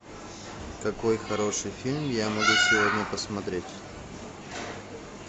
какой хороший фильм я могу сегодня посмотреть